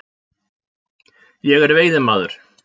Ég er veiðimaður.